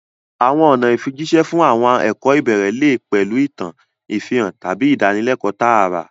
Àwọn ọ̀nà ìfijíṣẹ́ fún àwọn ẹ̀kọ́ ìbẹ̀rẹ̀ lè pẹ̀lú ìtàn, ìfihàn, tàbí ìdánilẹ́kọ̀ọ́ tààrà.